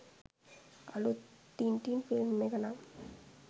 අලුත් Tintin film එක නම්